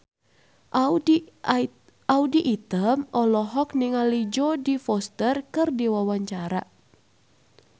Audy Item olohok ningali Jodie Foster keur diwawancara